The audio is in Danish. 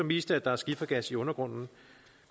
vist at der er skifergas i undergrunden